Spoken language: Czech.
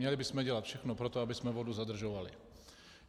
Měli bychom dělat všechno pro to, abychom vodu zadržovali.